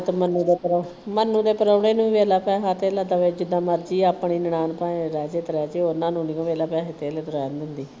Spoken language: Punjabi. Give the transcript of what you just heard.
ਮੰਨੂ ਦੇ ਪ੍ਰਾ ਮੰਨੂ ਦੇ ਪ੍ਰਾਹੁਣੇ ਨੂੰ ਵੀ ਜਿਦਾ ਮਰਜੀ ਆਪਣੀ ਨਨਾਣ ਤਾਂ ਰਹਿ ਜਾਏ ਤੇ ਰਹਿ ਜਾਏ ਉਨ੍ਹਾਂ ਨੂੰ ਨਹੀਂ ਵੇਖ ਲਾ ਪੈਸੇ ਧੇਲੇ ਤੋਂ ਰਹਿਣ ਦਿੰਦੀ।